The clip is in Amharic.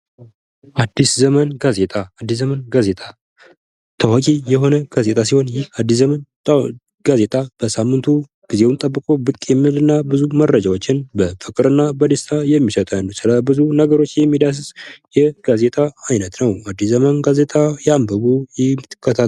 አዲስ ዘመን ጋዜጣ:- አዲስ ዘመን ጋዜጣ ታዋቂ የሆነ ጋዜጣ ሲሆን ይህ አዲስ ዘመን ጋዜጣ በሳምንቱ ጊዜዉን ጠብቆ ብቅ የሚል እና ብዙ መረጃዎችን በፍቅር እና በደስታ የሚሰጠን ስለ ብዙ ነገሮች የሚዳስስ የጋዜጣ አይነት ነዉ። አዲስ ዘመን ጋዜጣ ያንብቡ ይከታተሉ።